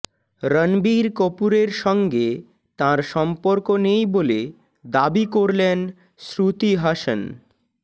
রণবীর কপূরের সঙ্গে তাঁর সম্পর্ক নেই বলে দাবি করলেন শ্রুতি হাসন